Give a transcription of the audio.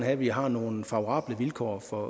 at vi har nogle favorable vilkår for